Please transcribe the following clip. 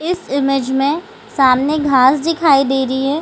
इस इमेज़ में सामने घास दिखाई दे रही है।